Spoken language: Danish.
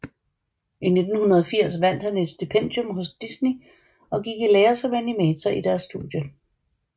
I 1980 vandt han et stipendium hos Disney og gik i lære som animator i deres studie